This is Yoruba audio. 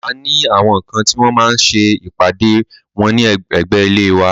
A ní àwọn kan tí wọ́n máa ń ṣe ìpàdé ẹgbẹ́ wọ́n ní ẹ̀gbé ilé wa.